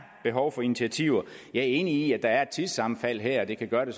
behov for initiativer jeg er enig i at der er et tidssammenfald her det kan gøre det